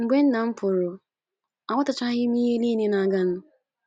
Mgbe nna m pụrụ, aghọtachaghị m ihe nile na - aganụ.